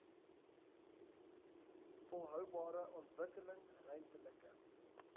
volhoubare ontwikkeling ruimtelike